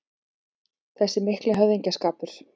Þessi mikli höfðingsskapur